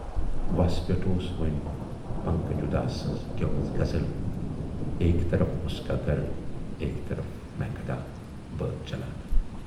وس پٮ۪ٹھ اوس وۅنۍ پنکج اُداس سٕنز گٮ۪ومٕژ غزل"ایک طرف اُس کا گھر ایک طرف مے کدہ"بٲتھ چلان۔